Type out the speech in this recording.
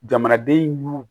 Jamanaden y'u